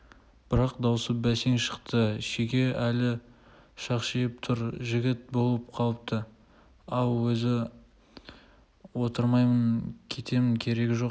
бірақ дауысы бәсең шықты шеге әлі шақшиып тұр жігіт болып қалыпты-ау өзі отырмаймын кетемін керегі жоқ